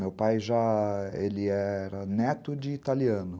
Meu pai já era neto de italiano.